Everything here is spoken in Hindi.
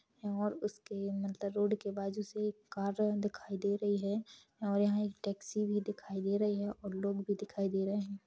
और उसके मतलब रोड के बाजू से एक कार दिखाई दे रही है और यहाँ एक टैक्सी भी दिखाई दे रही है और लोग भी दिखाई दे रहे है।